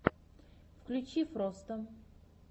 включи фроста